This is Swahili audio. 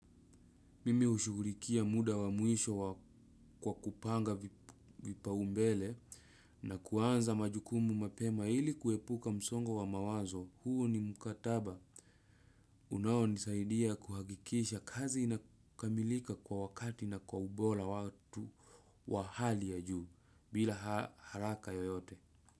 Mimi ushugurikia muda wa muisho kwa kupanga vipaumbele na kuanza majukumu mapema ili kuepuka msongo wa mawazo huu ni mkataba. Unaonisaidia kuhagikisha kazi inakamilika kwa wakati na kwa ubora watu wa hali ya juu bila haraka yoyote.